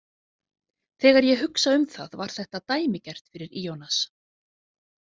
Þegar ég hugsa um það var þetta dæmigert fyrir Ionas.